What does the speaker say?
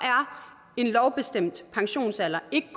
en lovbestemt pensionsalder ikke